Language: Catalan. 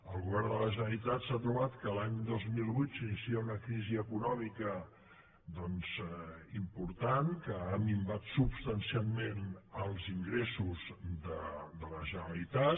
el govern de la generalitat s’ha trobat que l’any dos mil vuit s’inicia una crisi econòmica important que ha minvat substancialment els ingressos de la generalitat